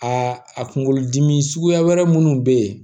Aa a kunkolodimi suguya wɛrɛ minnu bɛ yen